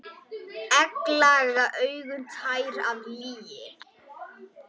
Egglaga augun tær af lygi.